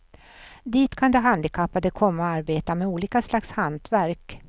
Dit kan de handikappade komma och arbeta med olika slags hantverk.